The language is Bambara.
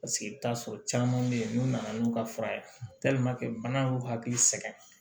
Paseke i bɛ t'a sɔrɔ caman bɛ yen n'u nana n'u ka fura ye bana y'u hakili sɛgɛn